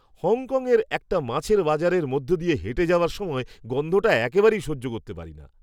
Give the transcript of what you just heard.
হংকংয়ের একটা মাছের বাজারের মধ্য দিয়ে হেঁটে যাওয়ার সময় গন্ধটা একেবারেই সহ্য করতে পারি না।